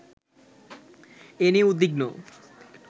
এ নিয়ে উদ্বিগ্ন